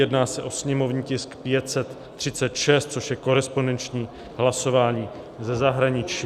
Jedná se o sněmovní tisk 536, což je korespondenční hlasování ze zahraničí.